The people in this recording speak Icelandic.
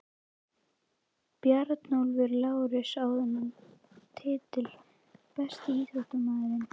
Bjarnólfur Lárusson á þennan titil Besti íþróttafréttamaðurinn?